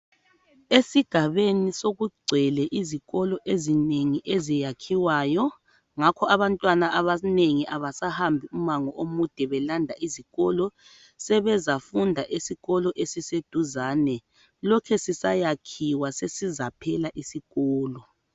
Esigabeni sokugcwele izikolo ezinengi eziyakhiwayo ngakho abantwana abanengi abasahambi umango omude belanda izikolo sebezafunda esikolo esiseduzane lokhe sisayakhiwa sesizaphela isikolo.